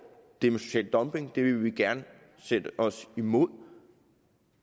det med social dumping vil vi gerne sætte os imod